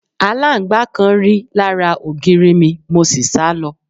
Alangba kan ri lara ogiri mi, mo si sa lo